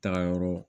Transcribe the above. Tagayɔrɔ